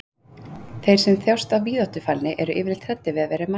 Þeir sem þjást af víðáttufælni eru yfirleitt hræddir við að vera í mannfjölda.